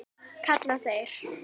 kalla þeir.